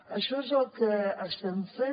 això és el que estem fent